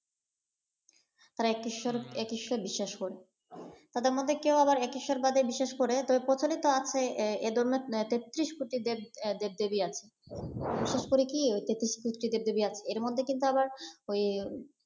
তারা এক ঈশ্বর এক ঈশ্বর বিশ্বাস করে তাদের মধ্যে কেউ আবার এক ঈশ্বরবাদে বিশ্বাস করে ।তবে প্রচলিত আছে এ ধরনের তেত্রিশ কোটি দেব দেবী দেব দেবী আছে। বিশেষ করে কি দেব দেবী আছে এর মধ্যে কিন্তু আবার ওই